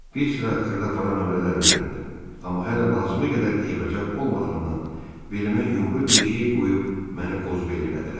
Bir sıra xırdapara nömrələr öyrəndim, amma hələ lazımi qədər eybəcər olmadığımdan, belimə yumru bir şey qoyub məni qozbel elədilər.